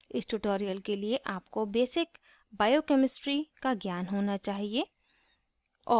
इस tutorial के लिए आपको basic biochemistry का ज्ञान होना चाहिए